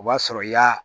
O b'a sɔrɔ i y'a